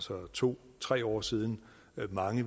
for to tre år siden